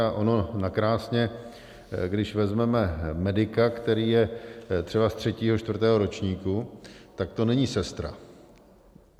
A ono nakrásně, když vezmeme medika, který je třeba ze třetího, čtvrtého ročníku, tak to není sestra.